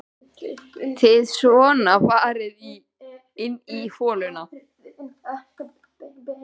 Þið svona farið inn í hollum?